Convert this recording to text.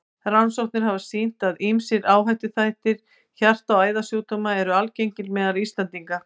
Rannsóknir hafa sýnt, að ýmsir áhættuþættir hjarta- og æðasjúkdóma eru algengir meðal Íslendinga.